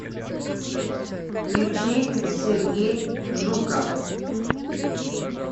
включи сергей жуков